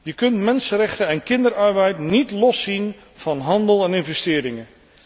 Je kunt mensenrechten en kinderarbeid niet los zien van handel en investeringen.